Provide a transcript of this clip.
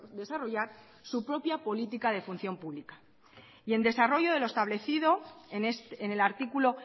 desarrollar su propia política de función pública y en desarrollo de lo establecido en el artículo